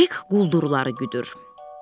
Hek quldurları güdür.